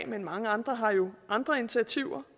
men mange andre har jo andre initiativer